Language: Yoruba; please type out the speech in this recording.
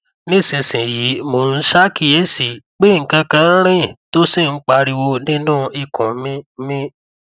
nísinsìnyí mò ń ṣaàkíyèsí pé nǹkankan nń riìn tó sì ń pariwo niínú ikùn mi mi